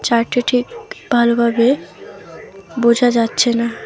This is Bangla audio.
লাইটটা ঠিক ভালোভাবে বোঝা যাচ্ছে না।